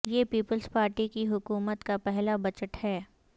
یہ Peoples Party کی حکومت کا پہلا بجٹ ہے